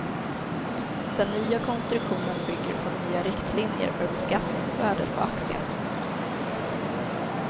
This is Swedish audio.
Den nya konstruktionen bygger på nya riktlinjer för beskattningsvärdet på aktien.